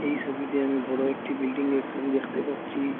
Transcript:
এই ছবিতে আমি একটি বড় বিল্ডিংয়ের ছবি দেখতে পাচ্ছি।